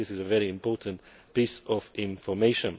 Bank. I think this is a very important piece of information.